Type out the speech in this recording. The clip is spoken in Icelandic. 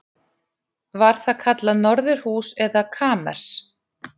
Var það kallað norðurhús eða kamers